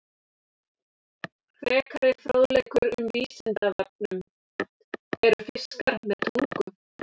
Frekari fróðleikur um Vísindavefnum: Eru fiskar með tungu?